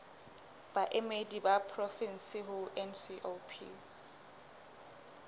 baemedi ba porofensi ho ncop